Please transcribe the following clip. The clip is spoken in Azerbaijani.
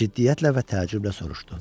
Ciddiyyətlə və təəccüblə soruşdu: